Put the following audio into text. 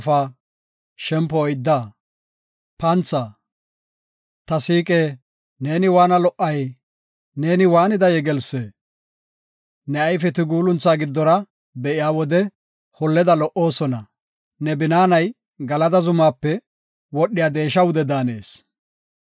Ta siiqe, neeni waana lo77ay! Neeni waanida yegelsse! Ne ayfeti guulunthaa giddora be7iya wode, holleda lo77oosona. Ne binaanay Galada zumaape wodhiya deesha wude daanees.